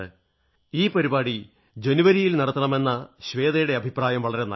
ഈ പരിപാടി ജനുവരിയിൽ നടത്തണമെന്ന ശ്വേതയുടെ അഭിപ്രായം വളരെ നല്ലതാണ്